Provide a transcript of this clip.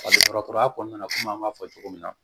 Ka don dɔgɔtɔrɔya kɔnɔna na kɔmi an b'a fɔ cogo min na